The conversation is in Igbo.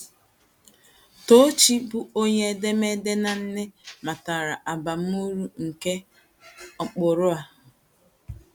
Tochi, bụ́ onye edemede na nne,, matara abamuru nke ụkpụrụ a.